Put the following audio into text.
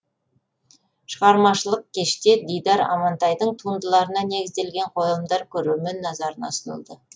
шығармашылық кеште дидар амантайдың туындыларына негізделген қойылымдар көрермен назарына ұсынылды